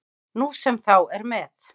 Nú sem þá er með